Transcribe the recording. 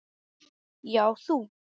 Já, þú!